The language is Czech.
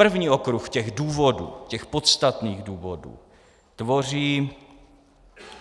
První okruh těch důvodů, těch podstatných důvodů, tvoří